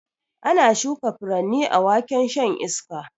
Ana shuka furanni a waken shan iska